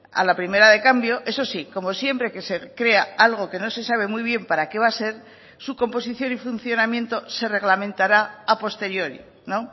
a la primera de cambio eso sí como siempre que se crea algo que no se sabe muy bien para qué va a ser su composición y funcionamiento se reglamentará a posteriori no